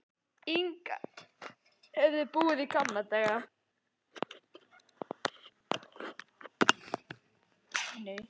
Inga höfðu búið í gamla daga.